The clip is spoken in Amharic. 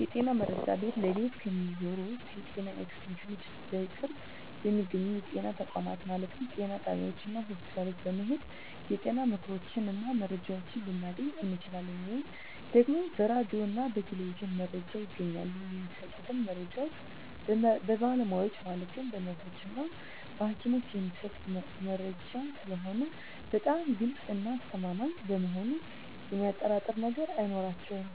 የጤና መረጃ ቤት ለቤት ከሚዞሩት የጤና ኤክስቴንሽኖች እና በቅርብ በሚገኙ የጤና ተቋማት ማለትም ጤና ጣቢያዎች እና ሆስፒታል በመሔድ የጤና ምክሮችን እና መረጃዎችን ልናገኝ እንችላለን። ወይም ደግሞ በራዲዮ እና በቴሌቪዥንም መረጃ ይገኛል። የሚሰጡት መረጃዎች በባለሙያዎች ማለትም በነርሶች እና በሀኪሞች የሚሰጥ መረጂ ስለሆነ በጣም ግልፅ እና አስተማማኝ በመሆኑ የሚያጠራጥር ነገር አይኖረውም